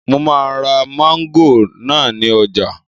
Mo máa ra mángòrò náà ní ọjà